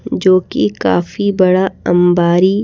जो कि काफी बड़ा अंबारी--